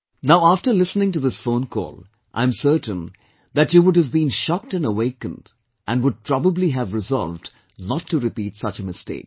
Now after listening to this phone call, I am certain that you would have been shocked and awakened and would probably have resolved not to repeat such a mistake